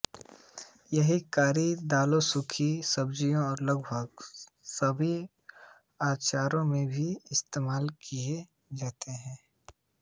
यह करी दालों सूखी सब्जियों और लगभग सभी अचारों में भी इस्तेमाल किया जाता है